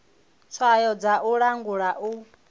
tswayo dza u langula u